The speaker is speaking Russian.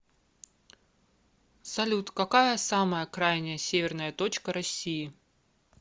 салют какая самая крайняя северная точка россии